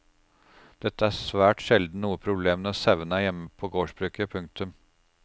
Dette er svært sjelden noe problem når sauene er hjemme på gårdsbruket. punktum